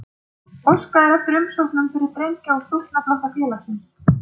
Óskað er eftir umsóknum fyrir drengja- og stúlknaflokka félagsins.